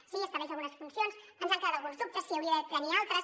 sí estableix algunes funcions ens han quedat alguns dubtes si n’hauria de tenir altres